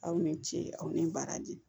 Aw ni ce aw ni baraji